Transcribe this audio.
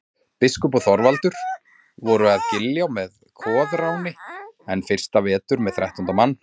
Biskup og Þorvaldur voru að Giljá með Koðráni enn fyrsta vetur með þrettánda mann.